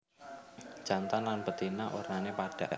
Jantan lan betina wernané padha